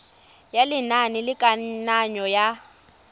ya lenane la kananyo ya